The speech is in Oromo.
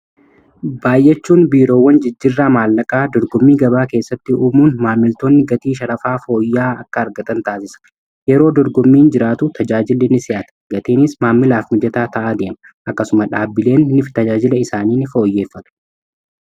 baay, achuun biiroowwan jijjirraa maallaqaa dorgommii gabaa keessatti uumuun maamiltoonni gatii sharafaa fooyya, aa akka argatan taasisa. yeroo dorgimmiin jiraatu tajaajili ni si, ata gatiinis maamilaaf mijataa ta'aa deema akkasumas dhaabbileetifi tajaajila isaaniin ni fooyyeeffatu.